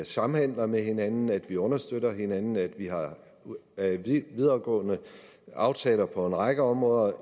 samhandler med hinanden at vi understøtter hinanden at vi har videregående aftaler på en række områder